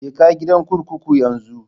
Je ka gidan kurkuku yanzu